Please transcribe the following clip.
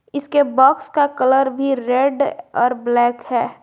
इसके बॉक्स का कलर भी रेड और ब्लैक है।